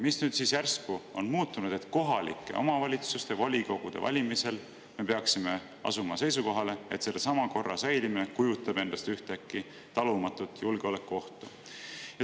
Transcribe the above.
Mis siis nüüd järsku on muutunud, et kohalike omavalitsuste volikogude valimisel me peaksime asuma seisukohale, et sellesama korra säilimine kujutab endast ühtäkki talumatut julgeolekuohtu?